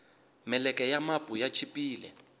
meleke ya mapu ya chipile